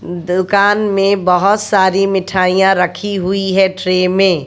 दुकान में बहुत सारी मिठाइयां रखी हुई है ट्रे में।